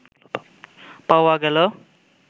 পাওয়া গেল